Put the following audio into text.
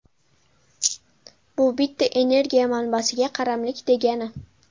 Bu bitta energiya manbasiga qaramlik degani.